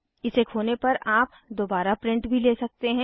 इसे खोने पर आप दोबारा प्रिंट भी ले सकते हैं